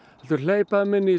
heldur hleypa þeim inn í